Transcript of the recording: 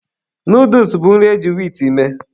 Nooduls bụ nri eji wiit mee.